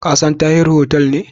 Ka san Tahir hotel ne?